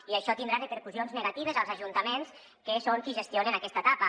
i això tindrà repercussions ne·gatives als ajuntaments que són qui gestionen aquesta etapa